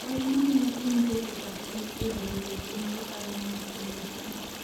wach ma miyo piny keto pachgi e bero weche mag ohala mondo omed tije